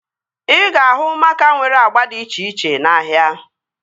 Ị ga-ahụ maaka nwere agba dị iche iche n'ahia